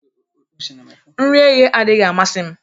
Nri eghe adịghị amasị m